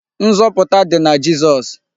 Nzọpụta dị na Jizọs.